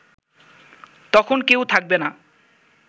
তখন কেউ থাকবে না